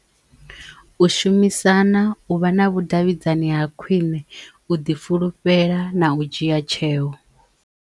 U shumisana, u vha na vhudavhidzani ha khwiṋe, u ḓi fulufhela na u dzhia tsheo.